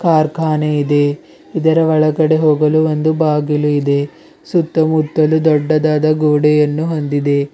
ಕಾರ್ಖಾನೆ ಇದೆ ಇದರ ಒಳಗಡೆ ಹೋಗಲು ಒಂದು ಬಾಗಿಲು ಇದೆ ಸುತ್ತಮುತ್ತಲು ದೊಡ್ಡದಾದ ಗೋಡೆಯನ್ನು ಹೊಂದಿದೆ.